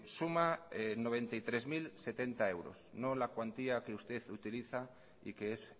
suma noventa y tres mil setenta euros no la cuantía que usted utiliza y que es